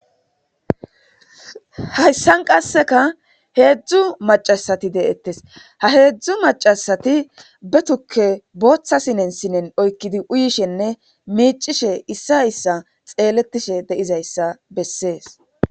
Haysa qaseka heezzu mac'ashati de'etes hezhu mac'ashati be tuke botha sinen sinen oykidi uyishe ne mic'ishe issa issa xeletishe dizaysa beses